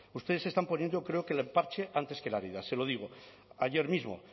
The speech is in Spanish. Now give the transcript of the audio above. ustedes están poniendo creo que el parche antes que la herida se lo digo ayer mismo